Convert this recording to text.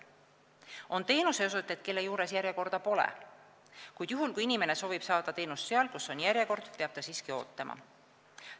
On teenuseosutajaid, kelle juures järjekorda pole, kuid juhul, kui inimene soovib saada teenust seal, kus on järjekord, peab ta ootama.